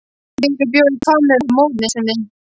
Sigríður bjó í Hvammi með móður sinni.